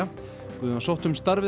Guðjón sótti um starfið